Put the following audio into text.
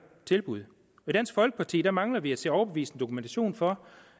tilbud i dansk folkeparti mangler vi at se overbevisende dokumentation for